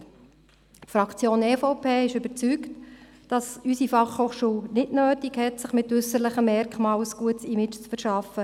Die Fraktion der EVP ist überzeugt, dass es unsere Fachhochschule nicht nötig hat, sich mit äusserlichen Merkmalen ein gutes Image zu verschaffen.